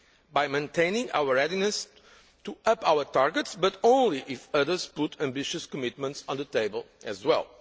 by maintaining our readiness to up our targets, but only if others put ambitious commitments on the table as well.